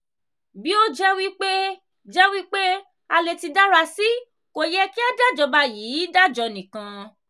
bi o je wi pe je wi pe a le ti dara si ko ye ki a dajoba yii dajo nikan.